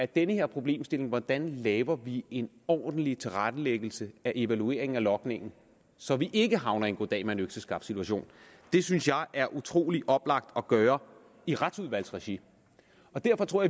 den her problemstilling sige hvordan laver vi en ordentlig tilrettelæggelse af evalueringen af logningen så vi ikke havner i en goddag mand økseskaft situation det synes jeg er utrolig oplagt at gøre i retsudvalgsregi og derfor tror